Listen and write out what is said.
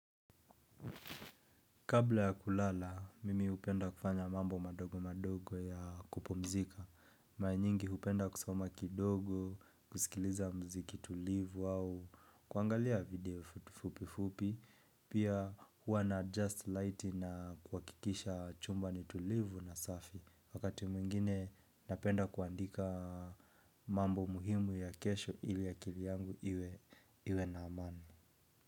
Kabla ya kulala, mimi hupenda kufanya mambo madogo madogo ya kupumzika. Mara nyingi hupenda kusoma kidogo, kusikiliza muziki tulivu au kuangalia video fupi fupi. Pia huwa na adjust light na kuhakikisha chumba ni tulivu na safi. Wakati mwingine napenda kuandika mambo muhimu ya kesho ili akili yangu iwe na amani.